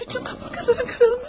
Bütün qabırğaların qırılmış.